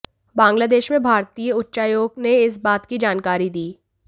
बांग्लादेश में भारतीय उच्चायोग ने इस बात की जानकारी दी